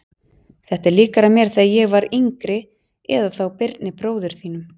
Þetta er líkara mér þegar ég var yngri eða þá Birni bróður þínum.